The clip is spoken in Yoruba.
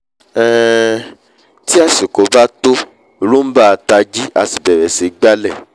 um tí àsìkò bá tó roomba a tají á bẹ̀rẹ̀ sí í gbálẹ̀